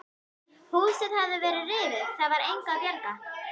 Húsið hafði verið rifið, það var engu að bjarga.